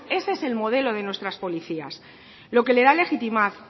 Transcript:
ese es el modelo de nuestras policías lo que le da